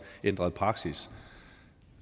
ændret praksis